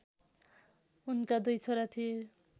उनका दुई छोरा थिए